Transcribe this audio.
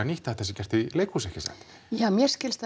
nýtt að þetta sé gert í leikhúsi ekki satt ja mér skilst